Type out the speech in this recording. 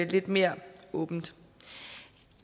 lidt mere åbent